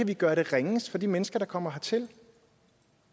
kan gøre det ringest for de mennesker der kommer hertil